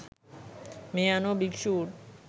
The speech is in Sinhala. මේ අනුව භික්‍ෂූන්